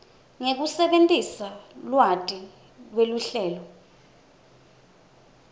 ngekusebentisa lwati lweluhlelo